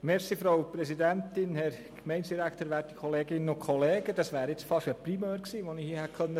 Ich hätte hier beinahe einen «Primeur» verkünden können, dass wir diese Motion nämlich zurückziehen.